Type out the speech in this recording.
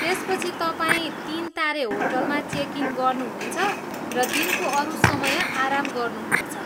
त्यसपछि तपाईँ तिन तारे होटलमा चेक इन गर्नुहुनेछ र दिनको अरू समय आराम गर्नुहुनेछ।